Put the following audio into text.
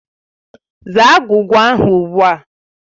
Zaa agwugwa ahụ ugbu a!